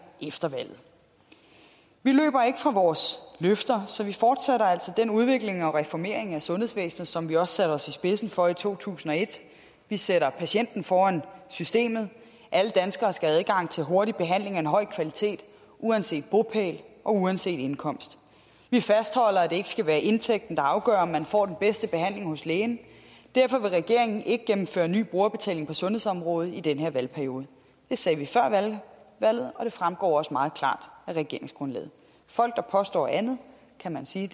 efter valget vi løber ikke fra vores løfter så vi fortsætter altså den udvikling og reformering af sundhedsvæsenet som vi også satte os i spidsen for i to tusind og et vi sætter patienten foran systemet alle danskere skal have adgang til hurtig behandling af en høj kvalitet uanset bopæl og uanset indkomst vi fastholder at det ikke skal være indtægten der afgør hvor man får den bedste behandling hos lægen derfor vil regeringen ikke indføre ny brugerbetaling på sundhedsområdet i den her valgperiode det sagde vi før valget og det fremgår også meget klart af regeringsgrundlaget folk der påstår andet kan man sige